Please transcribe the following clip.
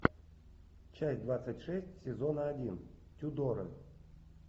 часть двадцать шесть сезона один тюдоры